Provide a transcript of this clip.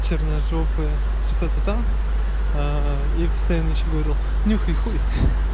черножопая что-то там аа и постоянно ещё говорил нюхай хуй